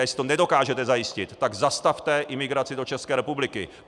A jestli to nedokážete zajistit, tak zastavte imigraci do České republiky.